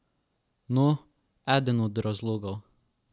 No, eden od razlogov.